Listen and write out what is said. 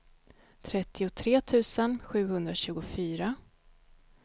trettiotre tusen sjuhundratjugofyra